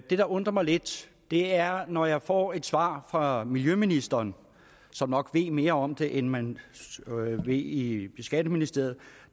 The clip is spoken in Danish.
der undrer mig lidt er at når jeg får et svar fra miljøministeren som nok ved mere om det end man ved i skatteministeriet